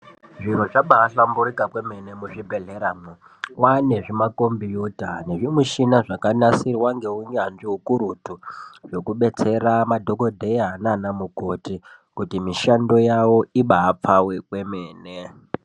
Zviro zvabahlamburika kwemene muzvibhehleramwo kwane zvima kombiyuta nezvimishina zvakanasirwa ngeunyanzvi ukurutu zvekubetsera madhokoteya nanamukoti kuti mishando yavo ibapfave kwemene.